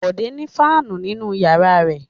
Bọ̀dé ní fáánù nínú ìyàrá rẹ̀.